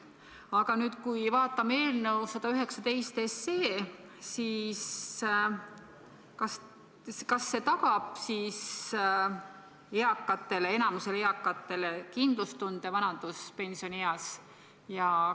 Aga nüüd, kui vaatame eelnõu 119, siis kas see tagab enamikule eakatele vanaduspensioni eas kindlustunde?